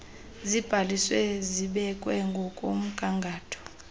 zibhaliswe zibekwe ngokomgangatho